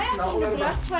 tvær